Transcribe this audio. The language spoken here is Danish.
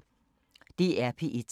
DR P1